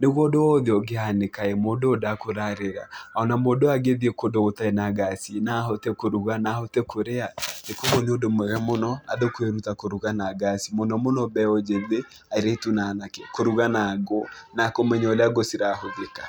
nĩguo ũndũ o wothe ũngĩhanĩka-ĩ, mũndũ ũyũ ndakũrarĩra, ona mũndũ ũyũ angĩthiĩ kũndũ gũtarĩ na ngaci-ĩ, no ahote kũruga, no ahote kũrĩa. Kuoguo nĩ ũndũ mwega mũno andũ kwĩruta kũruga na ngaci, mũno mũno mbeũ njĩthĩ airĩtu na anake, kũruga na ngũ na kũmenya ũrĩa ngũ cirahũthĩka.